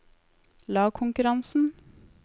lagkonkurransen